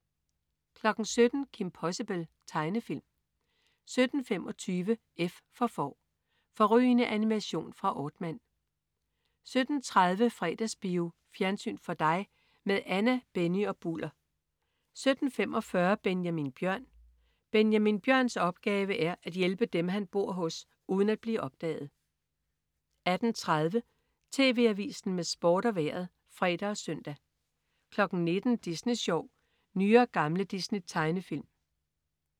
17.00 Kim Possible. Tegnefilm 17.25 F for Får. Fårrygende animation fra Aardman 17.30 Fredagsbio. Fjernsyn for dig med Anna, Benny og Bulder 17.45 Benjamin Bjørn. Benjamin Bjørns opgave er at hjælpe dem, han bor hos, uden at blive opdaget 18.30 TV Avisen med Sport og Vejret (fre og søn) 19.00 Disney Sjov. Nye og gamle Disney-tegnefilm